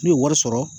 N'u ye wari sɔrɔ